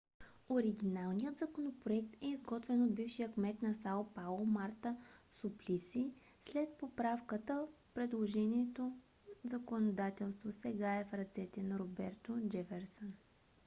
оригиналният законопроект е изготвен от бившия кмет на сао пауло марта суплиси. след поправката предложеното законодателство сега е в ръцете на роберто джеферсън